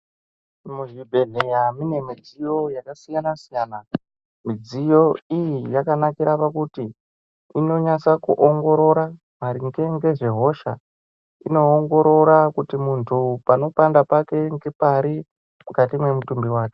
Muzvibhedhlera mune midziyo yakasiyana siyana. Midziyo iyi yakanakira pakuti inonase kuongorora maringe ngezvehosha. Inoongorora kuti muntu panopanda pake ngepari mukati memutumbi wake.